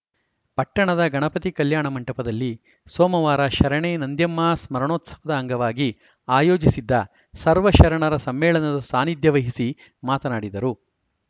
ಪಟ್ಟಣದ ಗಣಪತಿ ಕಲ್ಯಾಣ ಮಂಟಪದಲ್ಲಿ ಸೋಮವಾರ ಶರಣೆ ನಂದ್ಯಮ್ಮ ಸ್ಮರಣೋತ್ಸವದ ಅಂಗವಾಗಿ ಆಯೋಜಿಸಿದ್ದ ಸರ್ವಶರಣರ ಸಮ್ಮೇಳನದ ಸಾನ್ನಿಧ್ಯ ವಹಿಸಿ ಮಾತನಾಡಿದರು